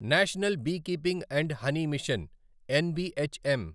national beekeeping and honey mission NBHM